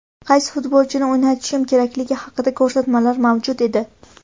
Qaysi futbolchini o‘ynatishim kerakligi haqida ko‘rsatmalar mavjud edi.